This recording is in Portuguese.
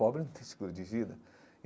Pobre não tem seguro de vida.